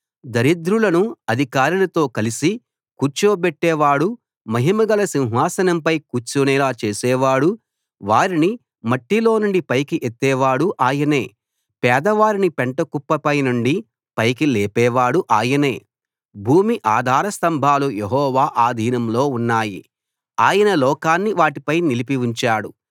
దరిద్రులను అధికారులతో కలసి కూర్చోబెట్టేవాడూ మహిమగల సింహాసనంపై కూర్చునేలా చేసేవాడూ వారిని మట్టిలోనుండి పైకి ఎత్తే వాడు ఆయనే పేదవారిని పెంటకుప్పపై నుండి పైకి లేపేవాడు ఆయనే భూమి ఆధార స్తంభాలు యెహోవా ఆధీనంలో ఉన్నాయి ఆయన లోకాన్ని వాటిపై నిలిపి ఉంచాడు